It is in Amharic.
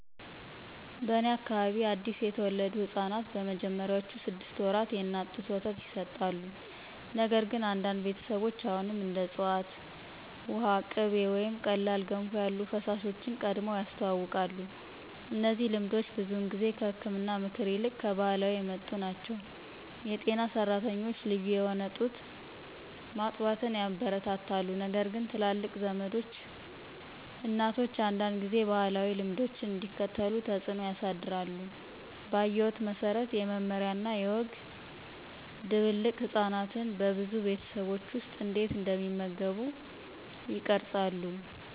በእኔ አካባቢ አዲስ የተወለዱ ሕፃናት በመጀመሪያዎቹ ስድስት ወራት የእናት ጡት ወተት ይሰጣሉ፣ ነገር ግን አንዳንድ ቤተሰቦች አሁንም እንደ ዕፅዋት ውሃ፣ ቅቤ ወይም ቀላል ገንፎ ያሉ ፈሳሾችን ቀድመው ያስተዋውቃሉ። እነዚህ ልምዶች ብዙውን ጊዜ ከህክምና ምክር ይልቅ ከባህላዊ የመጡ ናቸው. የጤና ሰራተኞች ልዩ የሆነ ጡት ማጥባትን ያበረታታሉ ነገርግን ትላልቅ ዘመዶች እናቶች አንዳንድ ጊዜ ባህላዊ ልምዶችን እንዲከተሉ ተጽዕኖ ያሳድራሉ. ባየሁት መሰረት፣ የመመሪያ እና የወግ ድብልቅ ህጻናት በብዙ ቤተሰቦች ውስጥ እንዴት እንደሚመገቡ ይቀርጻሉ።